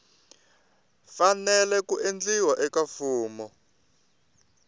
fanele ku endliwa eka fomo